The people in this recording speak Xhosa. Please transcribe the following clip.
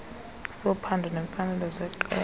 sophando neemfanelo zeqela